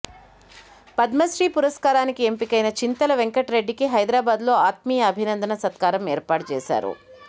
పద్మశ్రీ పురస్కారానికి ఎంపికైన చింతల వెంకటరెడ్డికి హైదరాబాద్ లో ఆత్మీయ అభినందన సత్కారం ఏర్పాటు చేశారు